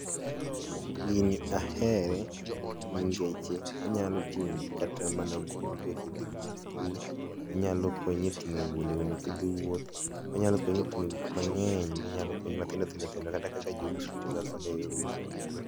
gini ahere ni ngeche onyalo ting'o kata mana buge ki dhigo sikul onyalo konyi e tingo lewni kidhi wuoth ,onyalo konyi e tingo gik mang'eny mathindo thindo kata kaka jo uso tiyo ga kode e yor uso